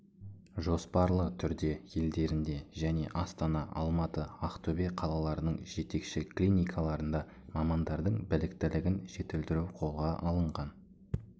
жоспарлы түрде елдерінде және астана алматы ақтөбе қалаларының жетекші клиникаларында мамандардың біліктілігін жетілдіру қолға алынған